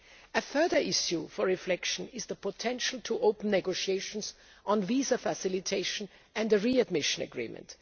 A further issue for reflection is the potential to open negotiations on visa facilitation and a readmission agreement.